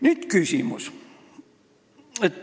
Nüüd selline küsimus.